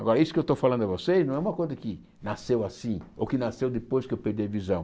Agora, isso que eu estou falando a vocês não é uma coisa que nasceu assim ou que nasceu depois que eu perdi a visão.